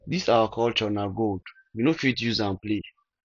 this our culture na gold we no fit use am play